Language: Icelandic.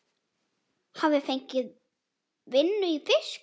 Hafi fengið vinnu í fiski.